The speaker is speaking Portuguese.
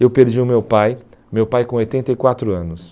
Eu perdi o meu pai, meu pai com oitenta e quatro anos.